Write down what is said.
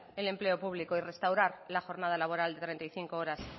el empleo público y restaurar la jornada laboral de treinta y cinco horas